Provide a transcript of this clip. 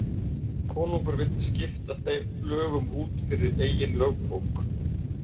Konungur vildi skipta þeim lögum út fyrir eigin lögbók.